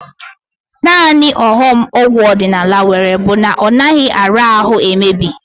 Naanị ọghọm ọgwụ ọdịnala nwere bụ na ọ naghị ara ahụ emebi